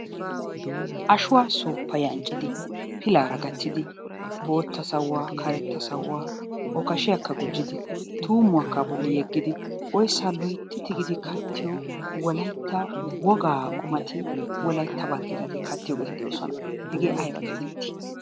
Ashuwa suppayi anccidi pilaara gaattidi bootta sawuwaa karetta sawuwa okkashiyakka gujjidi tuummuwakka a bolli yeggidi oyssaa loytti tiggidi kattiyo wolaytta wogaa qumati wolaytta balteettati kattiyo qummati de'oosona. Hegee ayba geettetti?